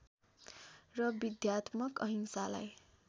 र विद्यात्मक अहिंसालाई